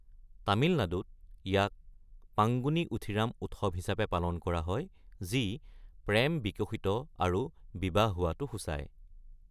তামিলনাডুত, ইয়াক পাঙ্গুনি উথিৰাম উৎসৱ হিচাপে পালন কৰা হয় যি প্ৰেম বিকশিত আৰু বিবাহ হোৱাটো সূচায়।